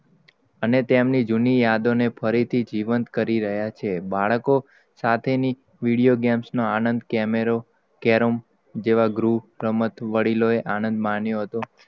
અને તેમની જુની યાદો ને, ફરી થી જીવંત કરી રહ્યા છે. બાળકો સાથે ની વીડિયો games નો આનંદ, કેમેરો કેરમ, જેવા ગ્રું, રમત, વડિલો યે આનંદ માણ્યો હતો.